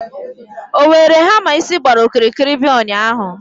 o were hamma isi gbara okirikiri bia ụnyahụ?